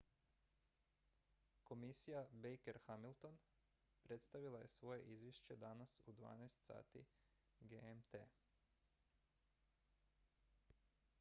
komisija baker-hamilton predstavila je svoje izvješće danas u 12.00 gmt